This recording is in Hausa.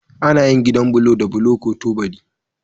Ana yin gidan bulo da bulo ko tubali.